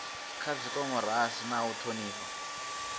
kha dimokirasi na u thonifha